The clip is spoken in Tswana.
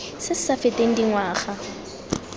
se se sa feteng dingwaga